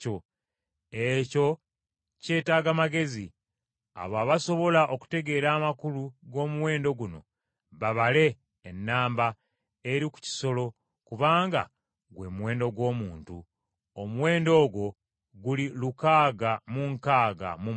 Ekyo kyetaaga amagezi: abo abasobola okutegeera amakulu g’omuwendo guno babale ennamba eri ku kisolo kubanga gwe muwendo gw’omuntu. Omuwendo ogwo guli lukaaga mu nkaaga mu mukaaga.